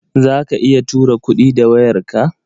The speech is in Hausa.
Za ka iya tura kuɗi da wayarka?